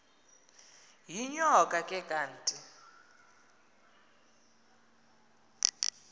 yinyoka le kanti